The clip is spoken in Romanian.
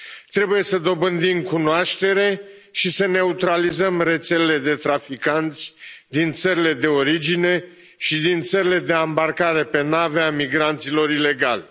Trebuie să dobândim cunoaștere și să neutralizăm rețelele de traficanți din țările de origine și din țările de ambarcare pe nave a migranților ilegali.